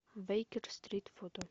бэйкер стрит фото